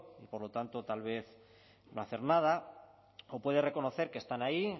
por lo tanto tal vez no hacer nada o puede reconocer que están ahí